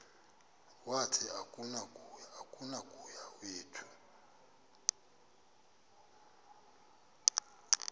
wathi akunakuya wedw